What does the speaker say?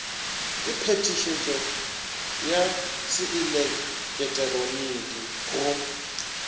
ka phetišetšo ya seeleketeroniki go